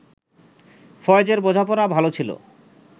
ফয়েজের বোঝাপড়া ভালো ছিল